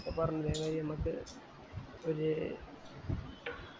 അപ്പൊ പറഞ്ഞ് നമക്ക് ഒര്